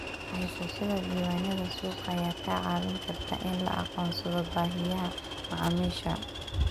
Haysashada diiwaannada suuqa ayaa kaa caawin karta in la aqoonsado baahiyaha macaamiisha